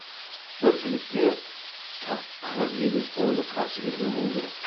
бір жігітке тақ қырық елу сойыл қарсы келген болу керек